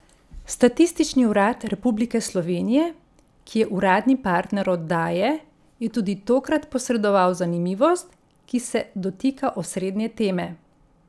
Statistični urad Republike Slovenije, ki je uradni partner oddaje, je tudi tokrat posredoval zanimivost, ki se dotika osrednje teme.